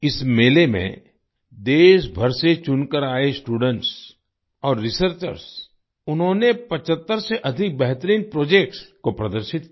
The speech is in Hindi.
इस मेले में देशभर से चुनकर आए स्टूडेंट्स और रिसर्चर्स उन्होंने 75 से अधिक बेहतरीन प्रोजेक्ट्स को प्रदर्शित किया